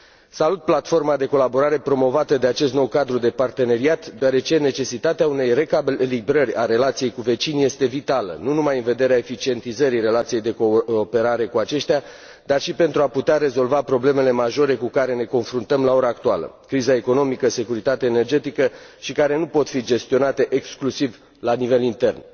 Salut platforma de colaborare promovată de acest nou cadru de parteneriat, deoarece necesitatea unei recalibrări a relației cu vecinii este vitală, nu numai în vederea eficientizării relației de cooperare cu aceștia, dar și pentru a putea rezolva problemele majore cu care ne confruntăm la ora actuală criza economică, securitatea energetică și care nu pot fi gestionate exclusiv la nivel intern.